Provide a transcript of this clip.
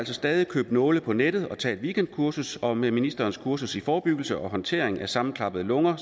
stadig købe nåle på nettet og tage et weekendkursus og med ministerens kursus i forebyggelse og håndtering af sammenklappede lunger